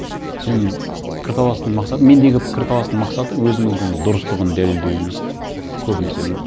сенің пікірталасыңның мақсаты мендегі пікірталастың мақсаты өзінікінің дұрыстығын дәлелдеу емес те көбінесе